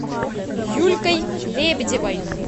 юлькой лебедевой